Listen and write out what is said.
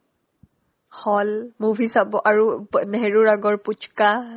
hall movie চাব আৰু অ নেহেৰুৰ আগৰ পোচকা